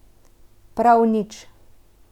Prav nič.